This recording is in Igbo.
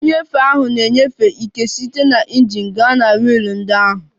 Nnyefe ahụ na-enyefe ike site na injin gaa na wiil ndị ahụ